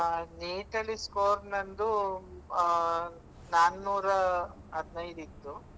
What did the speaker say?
ಆ NEET ಅಲ್ಲಿ score ನಂದು, ಆ ನಾಲ್ನುರ ಹದ್ನೆಯ್ದು ಇತ್ತು.